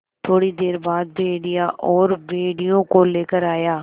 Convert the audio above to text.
थोड़ी देर बाद भेड़िया और भेड़ियों को लेकर आया